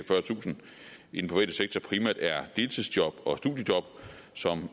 fyrretusind i den private sektor primært er deltidsjobs og studiejobs som